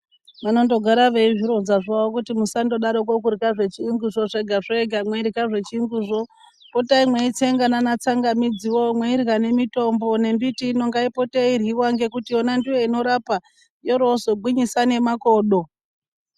Vanondogara veizvironza zvavo kuti musandodarokwo kudyra zvechiyungu zvo zvega zvega, mweidyra zvechiyungu zvo. Potai mweitsenga nana tsangamidzi wo, mweirywa nemitombo nembiti ino ngaipote yeidyriwa ngekuti yona ndiyo inorapa yoroozogwinyisa nemakodo.